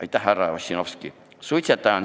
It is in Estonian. Aitäh, härra Ossinovski!